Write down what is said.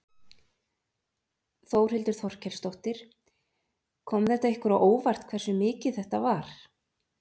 Þórhildur Þorkelsdóttir: Kom þetta ykkur á óvart hversu mikið þetta var?